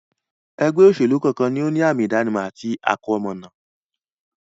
ẹgbẹ́-òsèlú kọ́ọ̀kan ni ó ní àmi-ìdánimọ̀ àti àkọmọ̀nà.